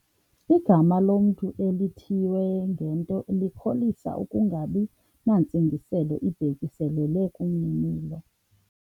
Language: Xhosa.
Igama lomntu elithiywe ngento likholisa ukungabi nantsingiselo ibhekiselele kumninilo.